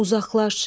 Uzaqlaş.